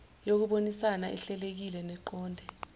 yokubonisana ehlelekile neqonde